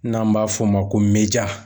N'an b'a f'o ma ko meja.